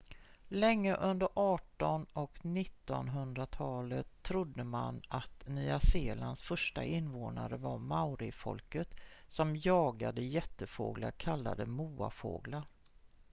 länge under arton- och nittonhundratalen trodde man att nya zeelands första invånare var maorifolket som jagade jättefåglar kallade moafåglar